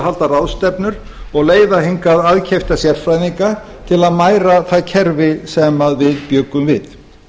halda ráðstefnur og leiða hingað aðkeypta sérfræðinga til að mæra það kerfi sem við bjuggum við